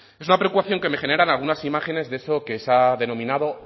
es una preocupación que me generan algunas imágenes de eso que se ha denominado